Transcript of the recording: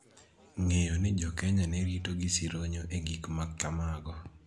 ng�eyo ni Jo-Kenya ne rito gi sironyo e gik ma kamago